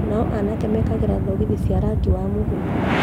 Nao anake magekĩra thogithi cia rangi wa mũhu